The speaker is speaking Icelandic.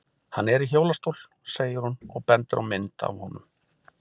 Hann er í hjólastól, segir hún og bendir á mynd af honum.